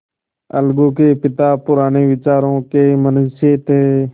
अलगू के पिता पुराने विचारों के मनुष्य थे